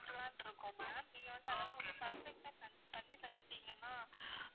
சாப்பிடலாம்னு இருக்கோம் ma'am நீங்க வந்து அதெல்லாம் வந்து perfect ஆ செஞ்சு தந்திட்டீங்கன்னா